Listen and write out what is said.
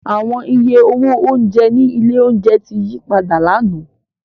Awọn iye owo ounjẹ ni ile ounjẹ ti yipada làná.